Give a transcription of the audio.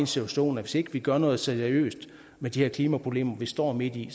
situation at hvis ikke vi gør noget seriøst med de her klimaproblemer vi står midt i